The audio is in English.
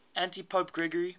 antipope gregory